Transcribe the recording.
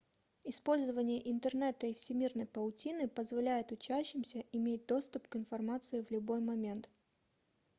использование интернета и всемирной паутины позволяет учащимся иметь доступ к информации в любой момент